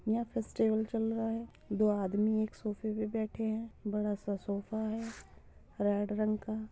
यहाँ फेस्टिवल चल रहा है दो आदमी एक सोफे पे बैठे हैं। बड़ा सा सोफा है रेड रंग का।